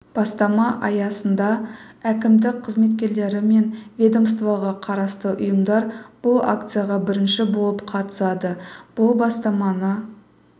бастама аясында әкімдік қызметкерлері мен ведомствоға қарасты ұйымдар бұл акцияға бірінші болып қатысады бұл бастаманы